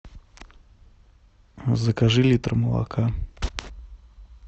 закажи литр молока